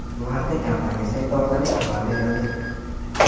Bu haqda kompaniya sayti orqali xabar berildi .